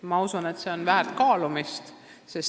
Ma usun, et see on väärt kaalumist.